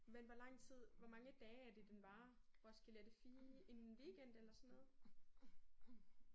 Men hvor lang tid hvor mange dage er det den varer Roskilde er det fire en weekend eller sådan noget?